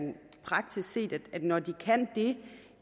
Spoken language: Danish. praktisk set at når de kan det